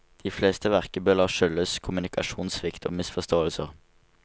De fleste verkebyller skyldes kommunikasjonssvikt og misforståelser.